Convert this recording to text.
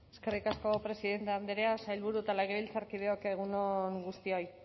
eskerrik asko presidente andrea sailburu eta legebiltzarkideok egun on guztioi